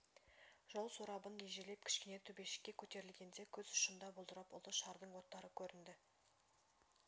жол сорабын ежелеп кішкене төбешікке көтерілгенде көз ұшында бұлдырап ұлы шардың оттары көрінді